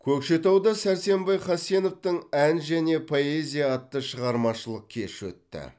көкшетауда сәрсенбай хасеновтың ән және поэзия атты шығармашылық кеші өтті